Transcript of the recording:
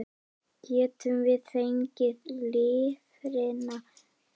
Getum við fengið lifrina þína?